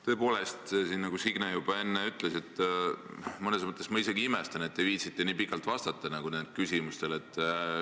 Tõepoolest, nagu Signe siin juba enne ütles, siis mõnes mõttes ma isegi imestan, et te viitsite nendele küsimustele nii pikalt vastata.